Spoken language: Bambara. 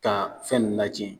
Ka fɛn ninnu latiɲɛ